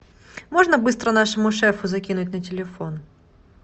можно быстро нашему шефу закинуть на телефон